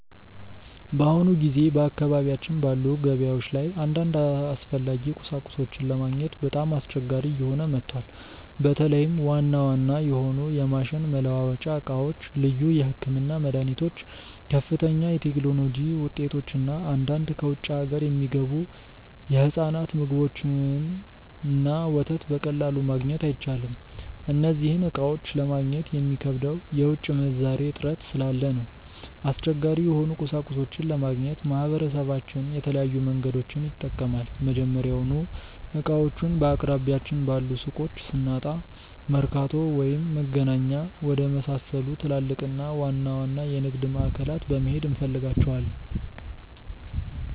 በአሁኑ ጊዜ በአካባቢያችን ባሉ ገበያዎች ላይ አንዳንድ አስፈላጊ ቁሳቁሶችን ለማግኘት በጣም አስቸጋሪ እየሆነ መጥቷል። በተለይም ዋና ዋና የሆኑ የማሽን መለዋወጫ ዕቃዎች፣ ልዩ የሕክምና መድኃኒቶች፣ ከፍተኛ የቴክኖሎጂ ውጤቶች እና አንዳንድ ከውጭ አገር የሚገቡ የሕፃናት ምግቦችንና ወተት በቀላሉ ማግኘት አይቻልም። እነዚህን ዕቃዎች ለማግኘት የሚከብደው የውጭ ምንዛሬ እጥረት ስላለ ነው። አስቸጋሪ የሆኑ ቁሳቁሶችን ለማግኘት ማህበረሰባችን የተለያዩ መንገዶችን ይጠቀማል። መጀመሪያውኑ ዕቃዎቹን በአቅራቢያችን ባሉ ሱቆች ስናጣ፣ መርካቶ ወይም መገናኛ ወደመሳሰሉ ትላልቅና ዋና ዋና የንግድ ማዕከላት በመሄድ እንፈልጋቸዋለን።